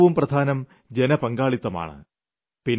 അതിൽ ഏറ്റവും പ്രധാനം ജനപങ്കാളിത്തമാണ്